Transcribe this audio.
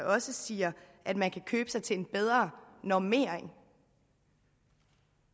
også siger at man kan købe sig til en bedre normering